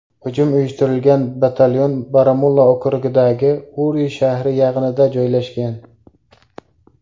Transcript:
Hujum uyushtirilgan batalyon Baramulla okrugidagi Uri shahri yaqinida joylashgan.